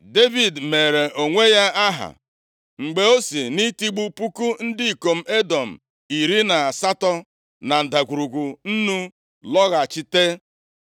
Devid meere onwe ya aha, mgbe o si nʼitigbu puku ndị ikom Edọm iri na asatọ na Ndagwurugwu Nnu lọghachite.